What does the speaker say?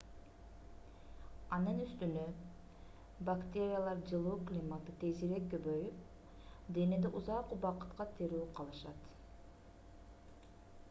анын үстүнө бактериялар жылуу климатта тезирээк көбөйүп денеде узак убакытка тирүү калышат